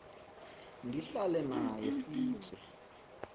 ndihlale naye sitye